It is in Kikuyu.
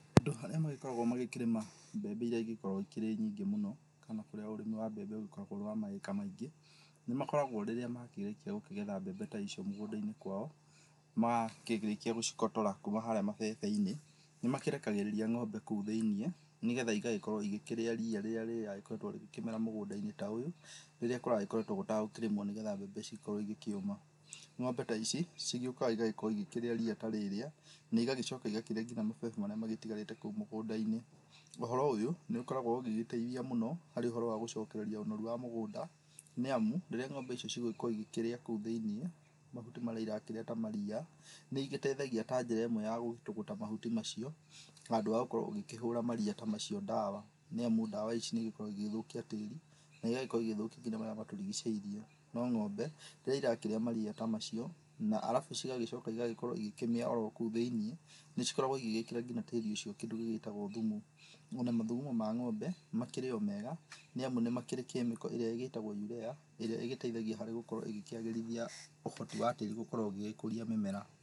Andũ arĩa magĩkoragwo makĩrĩma mbembe ĩria ĩgĩkoragwo ĩkĩrĩ nyingĩ mũno kana kũrĩa ũrĩmi wa mbembe ũgĩkoragwo ũrĩ wa maĩka maingĩ, nĩ makoragwo rĩrĩa makĩrĩkia gũkĩgetha mbembe ta icio mũgũnda-inĩ kwao makĩrĩkia gũcigotora kuma haria mabebe-inĩ nĩ makĩrekagĩrĩria ng'ombe kũu thĩiniĩ nĩgetha ĩgagĩkorwo ĩgĩkĩrĩa rĩya rĩrĩa rĩragĩkoretwo rĩgĩkĩmera mũgũnda-inĩ ta ũyũ rĩrĩa kũrakoretwo gũtagĩkĩrĩmwo nĩgetha mbembe cikorwo ĩgĩkĩũma. Ng'ombe ta ici cigĩũkaga ĩgakorwo ĩgĩkĩrĩa riya ta rĩrĩa na ĩgagĩcoka ĩgakĩrĩa ngina mabebe marĩa magĩtigarĩte kũrĩa mũgũnda-inĩ. Ũhoro ũyũ nĩ ũkoragwo ũgĩgĩteithia mũno harĩ ũhoro wa gũcokereria ũnoru wa mũgũnda nĩamu rĩrĩa ng'ombe icio cigũgĩkorwo ĩkĩrĩa kũu thĩiniĩ mahuti marĩa ĩrakĩrĩa ta mariya nĩ ĩgĩteithagia ta njĩra ĩmwe ya gũtũgũta mahuti macio handũ ha gũkorwo ũgĩkĩhũra mariya ta macio ndawa, nĩamu ndawa ici nĩ ĩgĩkoragwo ĩgĩgĩthũkia tĩri na ĩgakorwo ĩgĩthũkia ngina marĩa matũrigicĩirie. No ng'ombe rĩrĩa ĩrakĩrĩa mariya ta macio na cigagĩcoka ĩgagĩkorwo ĩgĩkĩmĩa orokũu thĩiniĩ nĩcikoragwo ĩgĩgĩkĩra ngina tĩri ũcio kĩndũ gĩgĩtagwo thumu. Ona mathugumo ma ng'ombe makĩrĩ o mega nĩamu nĩ makĩrĩ kemiko ĩrĩa ĩtagwo urea ĩrĩa ĩgĩteithagia harĩ gũkorwo ĩgĩkĩagĩrithia ũhoti wa tĩri gũkorwo ũgĩgĩkũria mĩmera.